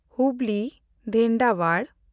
ᱦᱩᱵᱽᱞᱤ-ᱫᱷᱮᱱᱰᱟᱣᱟᱲ